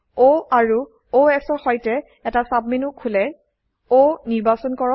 O আৰু অচ এৰ সৈতে এটা সাবমেনু খোলে O নিৰ্বাচন কৰক